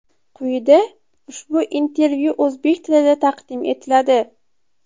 Quyida ushbu intervyu o‘zbek tilida taqdim etiladi.